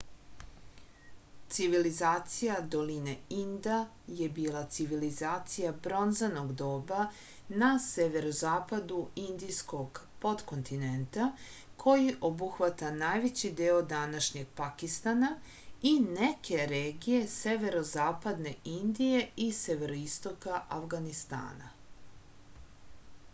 civilizacija doline inda je bila civilizacija bronzanog doba na severozapadu indijskog potkontinenta koji obuhvata najveći deo današnjeg pakistana i neke regije severozapadne indije i severoistoka avganistana